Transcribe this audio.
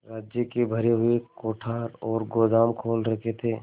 राज्य के भरे हुए कोठार और गोदाम खोल रखे थे